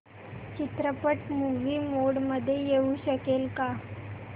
चित्रपट movie mode मध्ये येऊ शकेल का